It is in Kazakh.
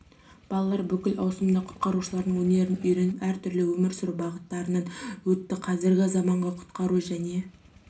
балалар бүкіл ауысымында құтқарушылардың өнерін үйреніп әр түрлі өмір сүру бағыттарынан өтті қазіргі заманғы құтқару және